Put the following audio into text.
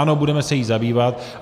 Ano, budeme se jí zabývat.